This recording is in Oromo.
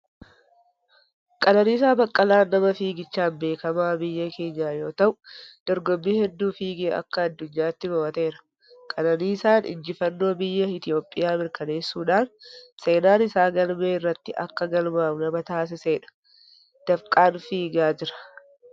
Qananiisaa Baqqalaan nama fiiggichaan beekamaa biyya keenyaa yoo ta'u, dorgommii hedduu fiigee akka addunyaatti moo'ateera. Qananiisaan injifannoo biyya Itoophiyaa mirkaneessuudhaan seenaan isaa galmee irratti akka galmaa'u nama taasisedha. Dafqaan fiigaa jira.